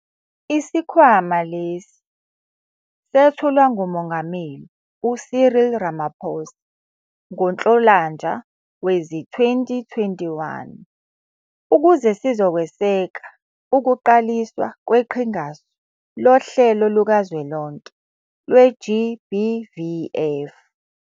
Isikhwama lesi sethulwa nguMongameli u-Cyril Ramaphosa ngoNhlolanja wezi-2021, ukuze sizokweseka ukuqaliswa kweQhingasu Lohlelo Lukazwelonke lwe-GBVF.